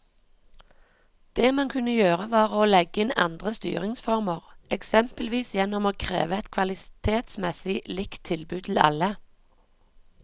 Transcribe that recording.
Det man kunne gjøre var å legge inn andre styringsformer, eksempelvis gjennom å kreve et kvalitetsmessig likt tilbud til alle.